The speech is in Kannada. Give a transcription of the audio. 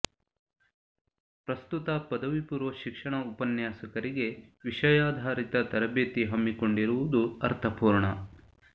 ಪ್ರಸ್ತುತ ಪದವಿ ಪೂರ್ವ ಶಿಕ್ಷಣ ಉಪನ್ಯಾಸಕರಿಗೆ ವಿಷಯಾಧಾರಿತ ತರಬೇತಿ ಹಮ್ಮಿಕೊಂಡಿರುವುದು ಅರ್ಥಪೂರ್ಣ